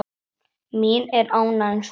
Mín er ánægjan svaraði ég.